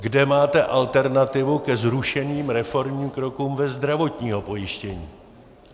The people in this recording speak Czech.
Kde máte alternativu ke zrušeným reformním krokům ve zdravotním pojištění?